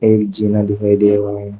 एक जीना दिखाई दे रहा है।